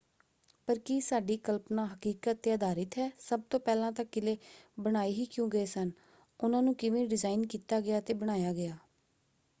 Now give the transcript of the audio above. ਪਰ ਕੀ ਸਾਡੀ ਕਲਪਨਾ ਹਕੀਕਤ 'ਤੇ ਆਧਾਰਿਤ ਹੈ? ਸਭ ਤੋਂ ਪਹਿਲਾਂ ਤਾਂ ਕਿਲ੍ਹੇ ਬਣਾਏ ਹੀ ਕਿਉਂ ਗਏ ਸਨ? ਉਨ੍ਹਾਂ ਨੂੰ ਕਿਵੇਂ ਡਿਜ਼ਾਇਨ ਕੀਤਾ ਗਿਆ ਅਤੇ ਬਣਾਇਆ ਗਿਆ?